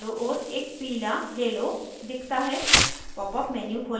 परमाणुओं के चारो ओर एक पीला yellow दिखता है